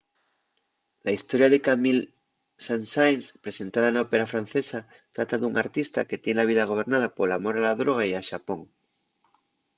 la historia de camille saint-saens presentada na ópera francesa trata d’un artista que tien la vida gobernada pol amor a la droga y a xapón.